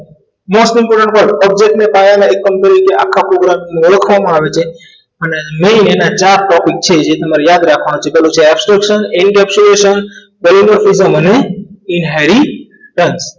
object પાયા like આખા program ની અંદર ઓળખવામાં આવે છે અને મેન એના ચાર topic છે એ તમારે યાદ રાખવાના છે પહેલો છે extence, intectioninheritence